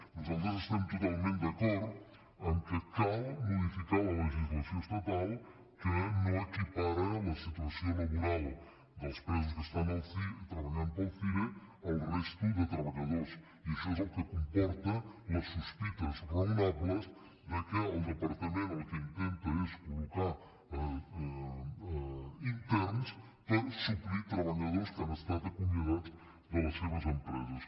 nosaltres estem totalment d’acord que cal modificar la legislació estatal que no equipara la situació laboral dels presos que treballen per al cire a la de la resta de treballadors i això és el que comporta les sospites raonables que el departament el que intenta és col·locar interns per suplir treballadors que han estat acomiadats de les seves empreses